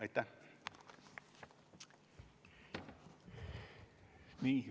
Aitäh!